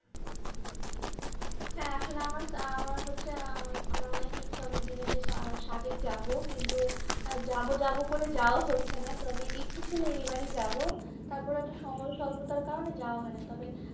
হ্যাঁ আসলে আমার আমার হচ্ছে আহ আমার অনেক ইচ্ছা অনেক দিনের সা সাদেক যাবো কিন্তু আর যাবো যাবো করে যাওয়া হচ্ছেনা তবে ইচ্ছে ছিল এবারই যাবো তারপরে এত সময় অল্প এই কারণে যাওয়া হয়না তারপরে